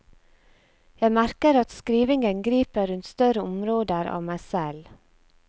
Jeg merker at skrivingen griper rundt større områder av meg selv.